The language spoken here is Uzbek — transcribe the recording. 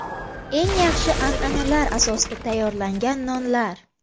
Eng yaxshi an’analar asosida tayyorlangan nonlar!.